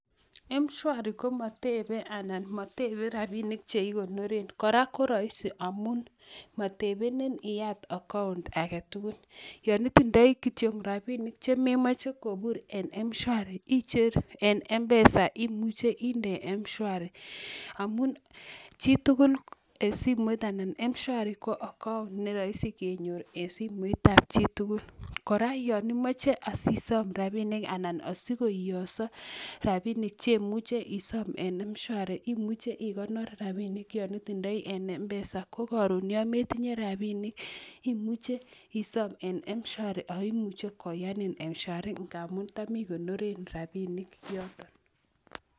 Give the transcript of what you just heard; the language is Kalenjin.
Mshwari ko matebe anan matebe robinik che ikonoren, kora ko rahisi amun matebenen iyat accout age tugul. Yon itindoi kityo robinik che memache kobur en mshwari icher en mpesa imuche inde mshwari amun chitugul en simoit anan mshwari ko account ne rahisi kenyoru en simoitab chitugul. Kora yon imache asisom rabinik anan asikoiyoso rabinik che imuche isom en mshwari. Imuche ikonor rabinik ya itindoi en mpesa ko karon ya metinye rabinik imuche isom en mshwari akimuche koyanun mshwari ngamun tami konoren rabinik yoton.